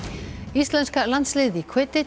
íslenska landsliðið í